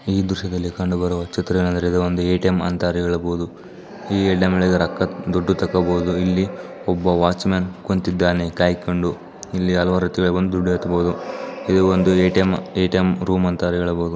ಈ ದೃಶ್ಯದಲ್ಲಿ ಕಂಡುಬರುವ ಚಿತ್ರ ಏನೆಂದರೆ ಇದು ಒಂದು ಎಟಿಎಂ ಅಂತ ಹೇಳಬಹುದು. ಈ ರೊಕ್ಕಾ ದುಡ್ಡು ತಕ್ಕೋಬಹುದು. ಇಲ್ಲಿ ಒಬ್ಬ ವಾಚುಮನ್ ಕುಂತ್ತಿದ್ದಾನೆ ಕಾಯಿಕೊಂಡು. ಇಲ್ಲಿ ಹಲವಾರು ತುಳಿ ಬಂದು ದುಡ್ಡು ಎತ್ತಬಹುದು. ಈ ಒಂದು ಎಟಿಎಂ ಎಟಿಎಂ ರೂಮ್ ಅಂತಾ ಹೇಳಬಹುದು.